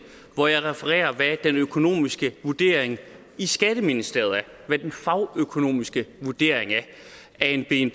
hvor jeg refererer hvad den økonomiske vurdering i skatteministeriet hvad den fagøkonomiske vurdering af en